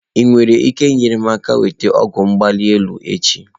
Ị nwere ike inyere m aka nweta ọgwụ ọbara mgbali elu echi?